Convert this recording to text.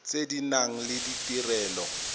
tse di nang le ditirelo